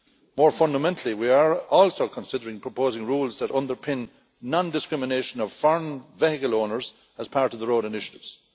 More fundamentally, we are also considering proposing rules that underpin non discrimination of foreign vehicle owners as part of the road initiatives.